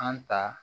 An ta